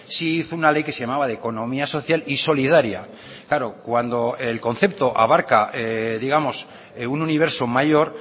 sí hizo una ley que se llamaba de economía social y solidaria claro cuando el concepto abarca digamos un universo mayor